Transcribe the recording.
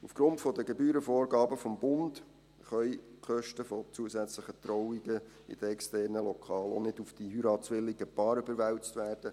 Aufgrund der Gebührenvorgaben des Bundes können die Kosten für zusätzliche Trauungen in externen Lokalen auch nicht auf die heiratswilligen Paare überwälzt werden.